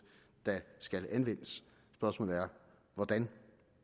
der skal anvendes spørgsmålet er hvordan